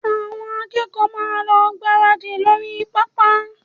Àwọn akẹ́kọ̀ọ́ máa lọ gbáradì ní orí pápá